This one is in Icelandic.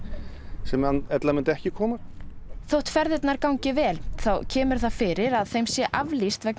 sem ella myndu ekki koma þótt ferðirnar gangi vel þá kemur það fyrir að þeim sé aflýst vegna